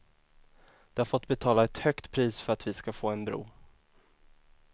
De har fått betala ett högt pris för att vi ska få en bro.